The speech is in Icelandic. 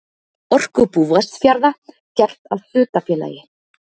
Orkubú Vestfjarða gert að hlutafélagi.